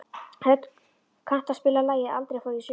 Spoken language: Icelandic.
Hödd, kanntu að spila lagið „Aldrei fór ég suður“?